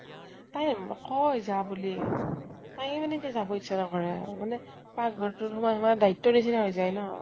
তাই কয় যা বুলি । তায়ে মানে এতিয়া যাব ইচ্ছা নকৰে আৰু মানে তাৰ ঘত তোত সোমাই সোমাই দায়িত্বৰ নিছিনে হৈ যায়্ন।